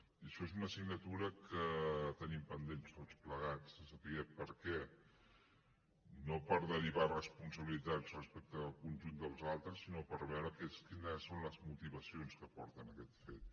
i això és una assignatura que tenim pendent tots plegats de saber per què no per derivar responsabilitats respecte del conjunt dels altres sinó per veure quines són les motivacions que porten a aquest fet